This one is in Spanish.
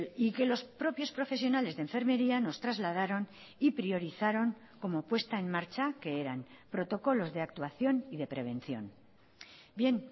y que los propios profesionales de enfermería nos trasladaron y priorizaron como puesta en marcha que eran protocolos de actuación y de prevención bien